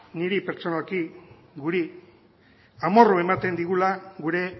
niri pertsonalki guri amorru ematen digula gure